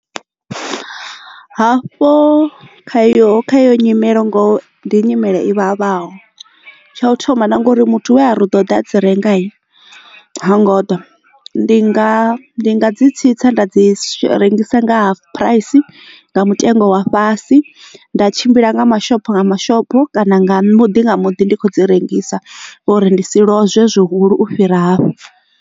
Hafho kha yo kha yo nyimelo ngoho ndi nyimele i vhavhaho tsha u thoma na ngori muthu we a ri u ḓo ḓa a dzi renga ha ngo ḓa ndi nga ndi nga dzi tsitsa nda dzi rengisa nga hafu phuraisi nga mutengo wa fhasi nda tshimbila nga mashopho nga mashopo kana nga muḓi nga muḓi ndi khou dzi rengisa uri ndi si lozwee zwihulu u fhira hafho.